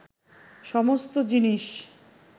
সমস্ত জিনিস